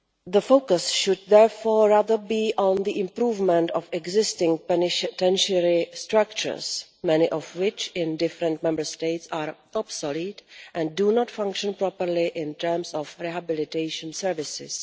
The focus should therefore rather be on the improvement of existing penitentiary structures, many of which in different Member States are obsolete and do not function properly in terms of rehabilitation services.